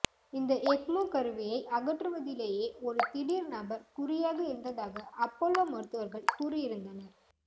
இந்த எக்மோ கருவியை அகற்றுவதிலேயே ஒரு திடீர் நபர் குறியாக இருந்ததாக அப்பல்லோ மருத்துவர்கள் கூறியிருந்தனர்